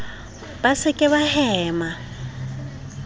ba se ke ba hema